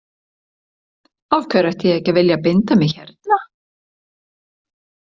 Af hverju ætti ég að vilja ekki binda mig hérna.